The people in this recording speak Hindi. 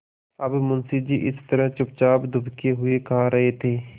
अब मुंशी जी इस तरह चुपचाप दुबके हुए खा रहे थे